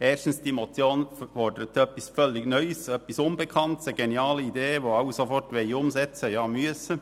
Erstens: Die Motion fordert etwas völlig Neues, etwas Unbekanntes, eine geniale Idee, die alle sofort umsetzen wollen, ja müssen.